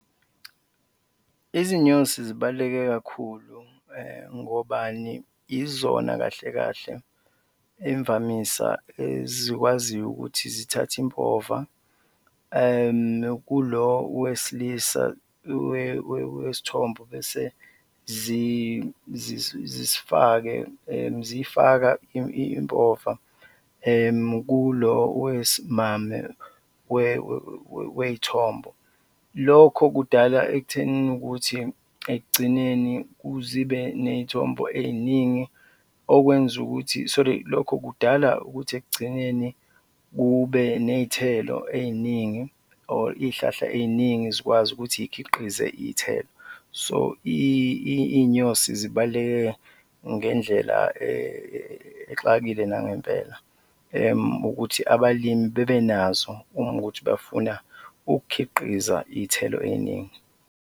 Izinyosi zibaluleke kakhulu ngobani? Izona kahle kahle imvamisa ezikwaziyo ukuthi zithathe impova kulo wesilisa wesithombo bese zifake ziyifaka impova kulo wesimame wey'thombo, lokho kudala ekuthenini ukuthi ekugcineni zibe ney'thombo ey'ningi, okwenza ukuthi, sorry, lokho kudala ukuthi ekugcineni kube ney'thelo ey'ningi or iy'hlahla ey'ningi zikwazi ukuthi zikhiqize iy'thelo. So iy'nyosi zibaluleke ngendlela exakile nangempela ukuthi abalimi bebenazo uma kuwukuthi bafuna ukukhiqiza iy'thelo ey'ningi.